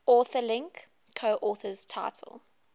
authorlink coauthors title